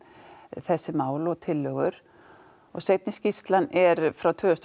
þessi mál og tillögur og seinni skýrslan er frá tvö þúsund og